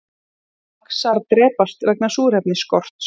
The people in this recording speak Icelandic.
Laxar drepast vegna súrefnisskorts